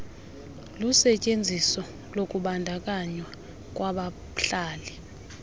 lusetyenziso lokubandakanywa kwabahlali